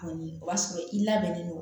Kɔni o b'a sɔrɔ i labɛnnen don